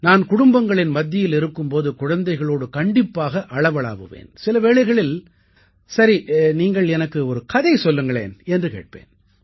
நான்குடும்பங்களின் மத்தியில் இருக்கும் போது குழந்தைகளோடு கண்டிப்பாக அளவளாவுவேன் சில வேளைகளில் சரி நீங்கள் எனக்கு ஒரு கதை சொல்லுங்களேன் என்று கேட்பேன்